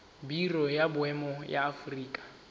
biro ya boemo ya aforika